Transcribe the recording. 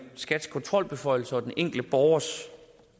skats kontrolbeføjelser og den enkelte borgers